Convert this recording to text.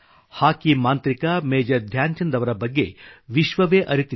ಹಾಕಿ ಮಾಂತ್ರಿಕ ಮೇಜರ್ ಧ್ಯಾನ್ ಚಂದ್ ಅವರ ಬಗ್ಗೆ ವಿಶ್ವವೇ ಅರಿತಿದೆ